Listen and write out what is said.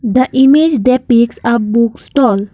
the image that speaks of book stall.